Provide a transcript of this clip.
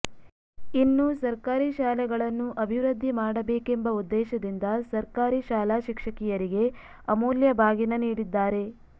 ಇನ್ನು ಸರ್ಕಾರಿ ಶಾಲೆಗಳನ್ನು ಅಭಿವೃದ್ಧಿ ಮಾಡಬೇಕೆಂಬ ಉದ್ದೇಶದಿಂದ ಸರ್ಕಾರಿ ಶಾಲಾ ಶಿಕ್ಷಕಿಯರಿಗೆ ಅಮೂಲ್ಯ ಬಾಗಿನ ನೀಡಿದ್ದಾರೆ